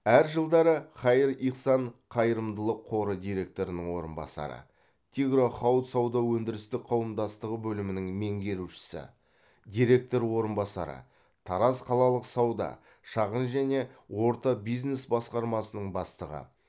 әр жылдары хаир ихсан қайырымдылық қоры директорының орынбасары тигро хауд сауда өндірістік қауымдастығы бөлімінің меңгерушісі директор орынбасары тараз қалалық сауда шағын және орта бизнес басқармасының бастығы